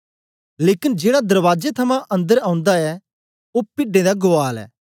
लेकन जेड़ा दरबाजे थमां अन्दर ओंदा ऐ ओ पिड्डें गुआल ऐ